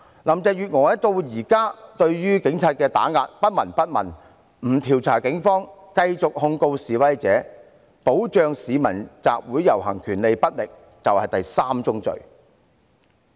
林鄭月娥至今對於警方的打壓不聞不問，不調查警方，繼續控告示威者，保障市民集會遊行權力不力，這就是第三宗罪。